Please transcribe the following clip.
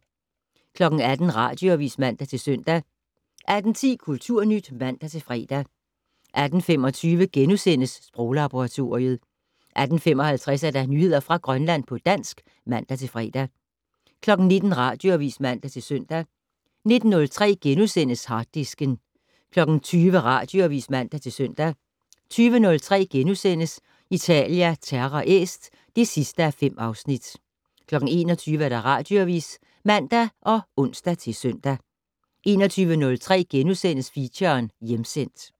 18:00: Radioavis (man-søn) 18:10: Kulturnyt (man-fre) 18:25: Sproglaboratoriet * 18:55: Nyheder fra Grønland på dansk (man-fre) 19:00: Radioavis (man-søn) 19:03: Harddisken * 20:00: Radioavis (man-søn) 20:03: Italia Terra Est (5:5)* 21:00: Radioavis (man og ons-søn) 21:03: Feature: Hjemsendt *